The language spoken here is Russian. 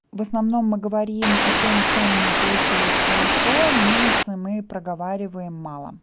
в основном мы говорим о том что у меня получилось хорошо минусы мы проговариваем мало